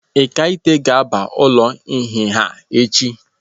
Ekaete ga-aba ụlọ nhịha echi.